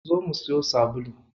Zo mu siyo sabulu.